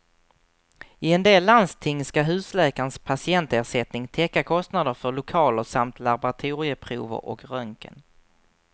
I en del landsting ska husläkarens patientersättning täcka kostnader för lokaler samt laboratorieprover och röntgen.